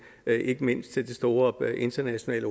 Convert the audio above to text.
ikke mindst til den store internationale